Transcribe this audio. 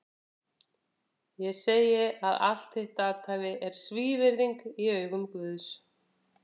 Ég segi að allt þitt athæfi er svívirðing í augum Guðs!